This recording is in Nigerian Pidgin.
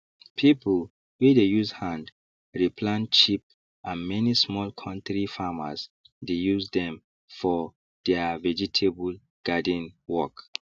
pipu wey dey use hand re plant cheap and many small kontri farmers dey use dem for deirr vegetable garden work